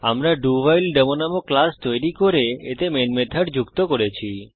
আমরা ডাউহাইলডেমো নামক ক্লাস তৈরি করেছি এবং এতে মেন মেথড যুক্ত করেছি